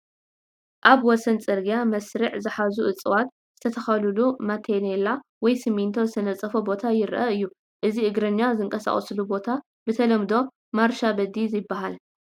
ኣብ ወሰን ፅርግያ መስርዕ ዝሓዙ እፅዋት ዝተተኸሉሉ ማተኔላ ወይ ስሚንቶ ዝተነፀፎ ቦታ ይርአ እዩ፡፡ እዚ እግረኛ ዝንቀሳቀሱሉ ቦታ ብተለምዶ ማርሻ በዲ ይበሃል፡፡